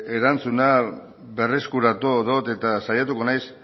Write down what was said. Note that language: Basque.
erantzuna berreskuratuko dut eta saiatuko naiz